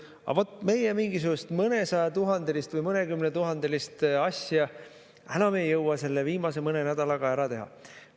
Aga vot, meie mingisugust mõnesajatuhandelist või mõnekümnetuhandelist asja enam ei jõua viimase mõne nädalaga ära teha.